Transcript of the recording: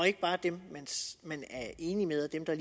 ikke bare dem man er enig med og dem der